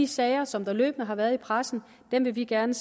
sager som løbende har været i pressen og vi vil gerne